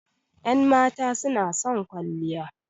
Ƴan mata suna son kwalliya